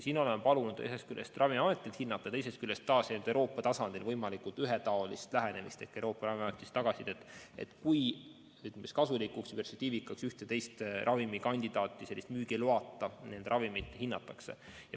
Oleme palunud neid ühest küljest Ravimiametil hinnata, teisest küljest aga ootame Euroopa tasandil võimalikult ühetaolist lähenemist ehk Euroopa Ravimiametist tagasisidet, kui kasulikuks ja perspektiivikaks ühte või teist ravimikandidaati, mingit müügiloata ravimit hinnatakse.